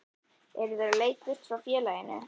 Eru þeir á leið burt frá félaginu?